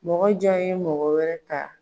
Mɔgɔ jɔn ye mɔgɔ wɛrɛ ka.